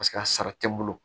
Paseke a sara tɛ n bolo